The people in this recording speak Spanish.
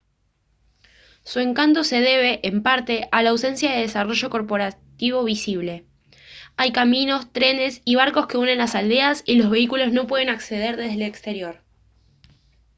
su encanto se debe en parte a la ausencia de desarrollo corporativo visible hay caminos trenes y barcos que unen las aldeas y los vehículos no pueden acceder desde el exterior